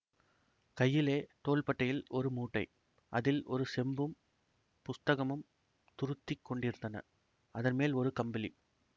கையிலே தோள்பட்டையில் ஒரு மூட்டை அதில் ஒரு செம்பும் புஸ்தகமும் துருத்திக் கொண்டிருந்தன அதன் மேல் ஒரு கம்பளி